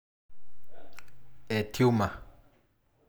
E tumor.